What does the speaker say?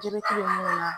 Jebɛti mun na